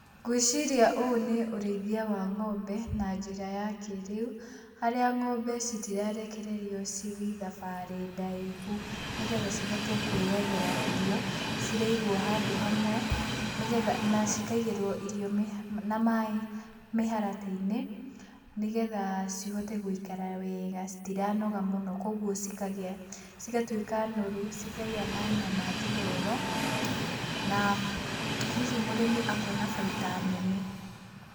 Ngwĩciria ũũ nĩ urĩithia wa ng'ombe na njĩra ya kĩrĩu. Harĩa ng'ombe citirarekererio cithiĩ thabarĩ ndaihu, nĩgetha cihote kwĩyethera irio. Ciraigwo handũ hamwe, na cikaĩgĩrwo irio na maaĩ mĩharatĩ-inĩ, nĩgetha cihote gũikara wega. Citiranoga mũno koguo cigautĩka noru, cikagia na nyama njororo, na hihi mũrĩmi akona baita nene.